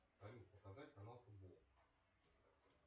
салют показать канал футбол